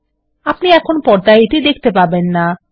আপনি এখন পর্দায় এটি দেখতে পারবেন না